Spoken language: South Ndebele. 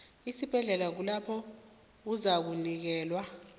esibhedlela lapho uzakunikelwa